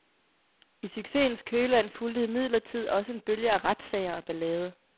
I succesens kølvand fulgte imidlertid også en bølge af retssager og ballade.